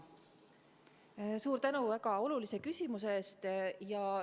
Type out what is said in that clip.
Suur tänu väga olulise küsimuse eest!